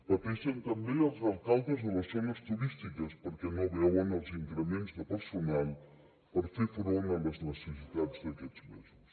pateixen també els alcaldes de les zones turístiques perquè no veuen els increments de personal per fer front a les necessitats d’aquests mesos